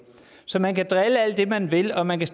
så man kan drille alt det man vil og man kan